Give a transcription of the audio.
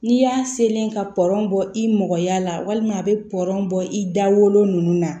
N'i y'a selen ka pɔrɔn bɔ i mɔgɔya la walima a bɛ pɔɔn bɔ i da wolo ninnu na